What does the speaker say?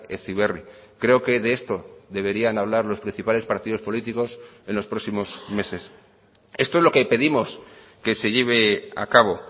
heziberri creo que de esto deberían hablar los principales partidos políticos en los próximos meses esto es lo que pedimos que se lleve a cabo